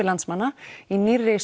landsmanna í nýrri